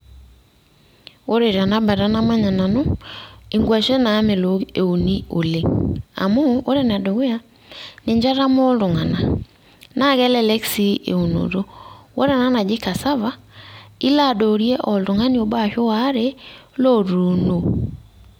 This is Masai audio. Ore tenabata namanya nanu, inkwashen naamelook euni oleng'. Amu, ore enedukuya; ninche etamoo iltung'anak. Na kelelek si eunoto. Ore ena naji casava, ilo adoorie oltung'ani obo ashu waare, lotuuno.